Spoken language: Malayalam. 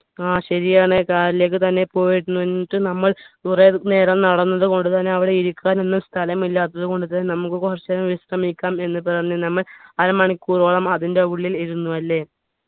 ആ ശരിയാണ് car ലേക്ക് തന്നെ പോയിരുന്നു എന്നിട്ട് നമ്മൾ കുറെ നേരം നടന്നതു കൊണ്ടുതന്നെ അവിടെ ഇരിക്കാനൊന്നും സ്ഥലമില്ലാത്തതു കൊണ്ട് തന്നെ നമ്മുക്ക് കുറച്ചു നേരം വിശ്രമിക്കാം എന്ന് പറഞ്ഞ് നമ്മൾ അരമണിക്കൂറോളം അതിന്റെ ഉള്ളിൽ ഇരുന്നു അല്ലെ